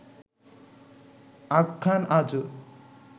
আখ্যান আজও